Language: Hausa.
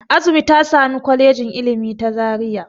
Azumi ta sami Kwalejin Ilimi ta Zaria.